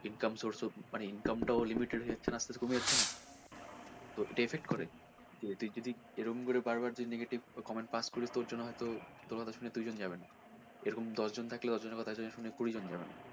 income source টাও মানে income টাও limited হয়ে যাচ্ছে না ওটা আসতে আসতে ওটা? তো এটা effect করে তুই যদি এরকম করে বার বার negative comment pass করিস তোর জন্য হয়তো তোর কথা শুনে দুই জন যাবে না এরকম দশ জন থাকলে দশ জনের কথা শুনে কুড়ি জন যাবে না।